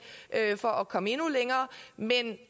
for at komme endnu længere men